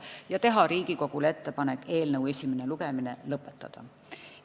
Samuti tehti Riigikogule ettepanek eelnõu esimene lugemine lõpetada.